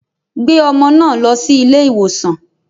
Gbé ọmọ náà lọ sí ilé ìwòsàn.